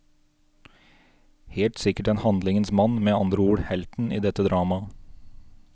Helt sikkert en handlingens mann, med andre ord helten i dette dramaet.